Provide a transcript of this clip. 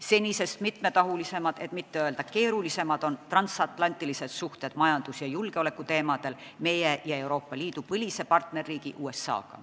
Senisest mitmetahulisemad, et mitte öelda keerulisemad on transatlantilised majandus- ja julgeolekualased suhted meie ja Euroopa Liidu põlise partnerriigi USA-ga.